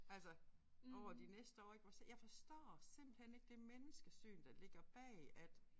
Altså over de næste år ik hvor så jeg forstår simpelthen ikke det menneskesyn der ligger bag at